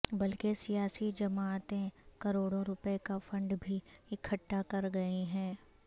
بلکہ سیاسی جماعتیں کروڑوں روپے کا فنڈ بھی اکھٹا کر گئیں ہیں